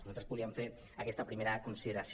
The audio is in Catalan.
nosaltres volíem fer aquesta primera consideració